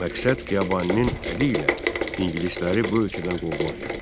Məqsəd Xiyabaninin əli ilə ingilisləri bu ölkədən qovmaq idi.